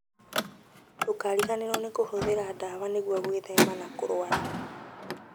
Ndũkariganĩrwo nĩ kũhũthĩra ndawa nĩguo gwĩthema na kũrũara